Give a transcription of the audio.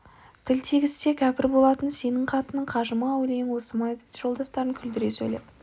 тіл тигізсе кәпір болатын сенің қатының қажы ма әулиең осы ма еді деп жолдастарын күлдіре сөйлеп